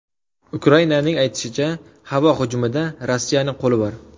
Ukrainaning aytishicha, havo hujumida Rossiyaning qo‘li bor.